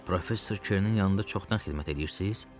Professor Kerinin yanında çoxdan xidmət edirsiz?